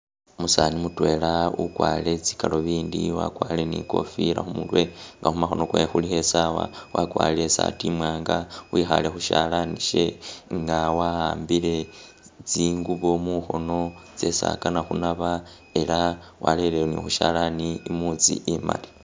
Umusani mutwela ukwarire tsi galubindi, wakwarire ni ikofila khumurwe nga khumakhono kwe khulikho i sawa, wakwarire isaati imwanga, wikhaale khu shalani she nga wa'ambile thingubo mukhono tsesi akana khunaba, era warele ni khushalani imutsi imali.